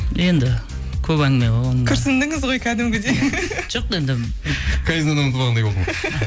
енді көп әңгіме ғой оның бәрі күрсіндіңіз ғой кәдімгідей жоқ енді казинодан ұтып алғандай болдың